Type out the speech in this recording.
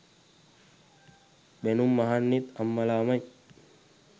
බැනුම් අහන්නෙත් අම්මලාමයි.